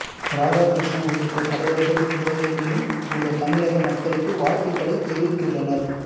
ராதாகிருஷ்ணன் உள்ளிட்ட தலைவர்கள் உலகெங்கிலும் உள்ள தமிழக மக்களுக்கு வாழ்த்துகளை தெரிவித்துள்ளனர்